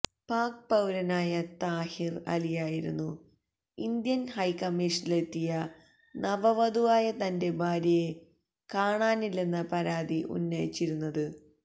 പാക് പൌരനായ താഹിര് അലിയായിരുന്നു ഇന്ത്യന് ഹൈക്കമ്മീഷനിലെത്തിയ നവവധുവായ തന്റെ ഭാര്യയെ കാണാനില്ലെന്ന പരാതി ഉന്നയിച്ചിരുന്നത്